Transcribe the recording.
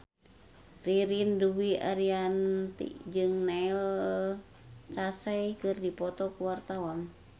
Ririn Dwi Ariyanti jeung Neil Casey keur dipoto ku wartawan